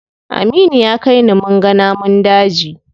Aminu ya kai ni munga namun daji.